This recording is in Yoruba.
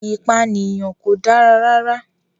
Ìpànìyàn kò dára rárá.